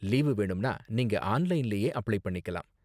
Leave வேணும்னா, நீங்க ஆன்லைன்லயே அப்ளை பண்ணிக்கலாம்.